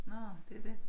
Nå det dét